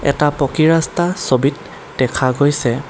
এটা পকী ৰাস্তা ছবিত দেখা গৈছে।